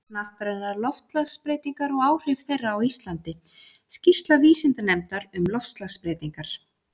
Hnattrænar loftslagsbreytingar og áhrif þeirra á Íslandi: Skýrsla vísindanefndar um loftslagsbreytingar.